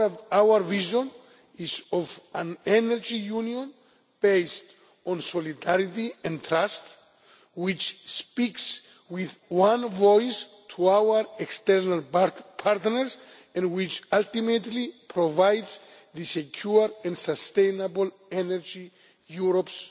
Our vision is of an Energy Union based on solidarity and trust, which speaks with one voice to our external partners and which, ultimately, provides the secure and sustainable energy Europe's